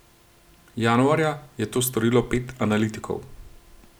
Januarja je to storilo pet analitikov.